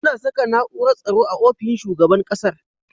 Ana Saka na'urar tsaro a ofishin shugaban ƙasar